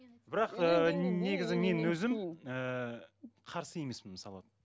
бірақ ыыы негізі мен өзім ыыы қарсы емеспін мысалы